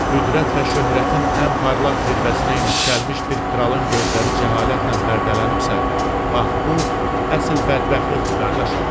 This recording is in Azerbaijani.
Qüdrət və şöhrətin ən parlaq zirvəsinə yüksəlmiş bir kralın gözləri cəhalətlə pərdələnibsə, bax bu əsl bədbəxtlikdir, qardaşım.